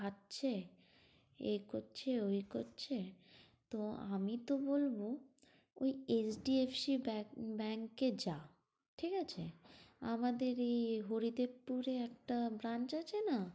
খাচ্ছে, এই করছে, ঐ করছে। তো আমি তো বলবো ঐ HDFC ba~ bank এ যা, ঠিক আছে? আমাদেরই হরিদেবপুরে একটা branch আছে না?